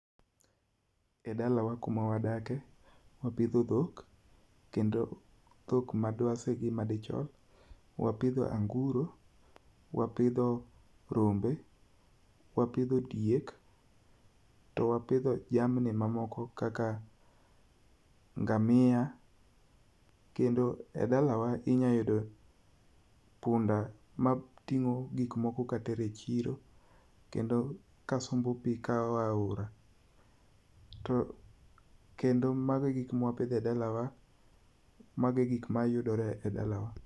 E dalawa kuma wadakie, wapitho thok kendo thok madwasi gi madichuo, wapitho angu'ro, wapitho rombe, wapitho diek to wapitho jamni mamoko kaka ngamia kendo e dalawa inyalo yudo punda mating'o gik moko katero e chiro kendo kasombo pi ka oae ahora, to kendo mago e gik ma wapitho e dalawa mago e gik mayudore e dalawa.